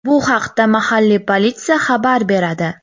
Bu haqda mahalliy politsiya xabar beradi .